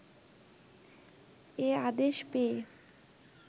এ আদেশ পেয়ে